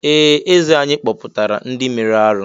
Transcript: Ee! Eze anyị kpọpụtara ndị mere arụ́.